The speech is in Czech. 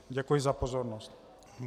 Děkuji za pozornost.